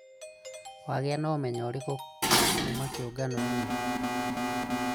Wagĩa na ũmenyo ũrĩkũ kuma kĩũnganoinĩ?